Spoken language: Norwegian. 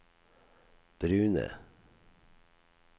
brune